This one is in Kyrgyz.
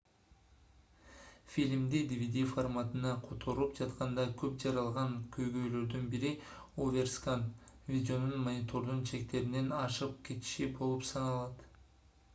фильмди dvd форматына которуп жатканда көп жаралган көйгөйлөрдүн бири оверскан видеонун монитордун чектеринен ашык кетиши болуп саналат